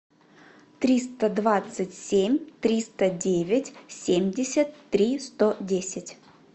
триста двадцать семь триста девять семьдесят три сто десять